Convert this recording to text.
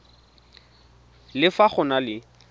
le fa go na le